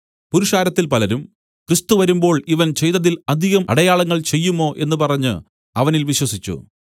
പുരുഷാരത്തിൽ പലരും ക്രിസ്തു വരുമ്പോൾ ഇവൻ ചെയ്തതിൽ അധികം അടയാളങ്ങൾ ചെയ്യുമോ എന്നു പറഞ്ഞു അവനിൽ വിശ്വസിച്ചു